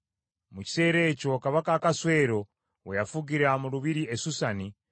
Mu kiseera ekyo Kabaka Akaswero we yafugira mu lubiri e Susani,